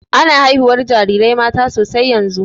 Ana haihuwan jarirai mata sosai yanzun.